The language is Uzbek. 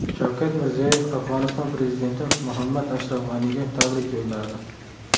Shavkat Mirziyoyev Afg‘oniston prezidenti Muhammad Ashraf G‘aniga tabrik yo‘lladi.